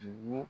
Dugu